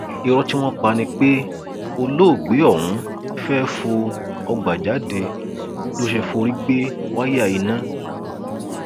ìró tí wọn pa ni pé olóògbé ọhún fẹẹ fọ ọgbà jáde ló ṣe forí gbé wáyà iná